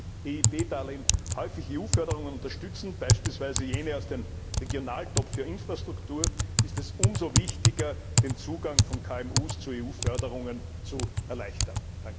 Nachdem die EIB Darlehen häufig EU Förderungen unterstützen, beispielsweise jene aus dem Regionaltopf für Infrastruktur, ist es umso wichtiger, den Zugang von KMU zu EU Förderungen zu erleichtern.